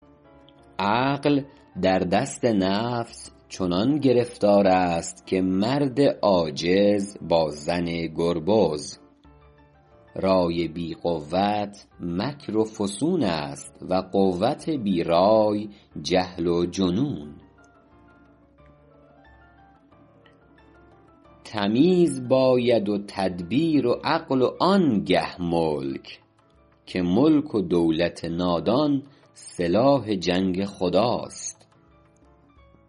عقل در دست نفس چنان گرفتار است که مرد عاجز با زن گربز رای بی قوت مکر و فسون است و قوت بی رای جهل و جنون تمیز باید و تدبیر و عقل و آن گه ملک که ملک و دولت نادان سلاح جنگ خداست